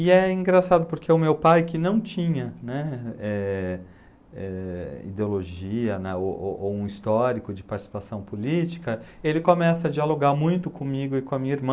E é engraçado porque o meu pai que não tinha né, eh eh ideologia né, o o o ou um histórico de participação política, ele começa a dialogar muito comigo e com a minha